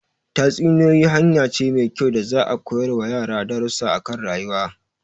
Tatsuniyoyi hanya ce mai kyau da za'a koyar wa yara darusa akan rayuwa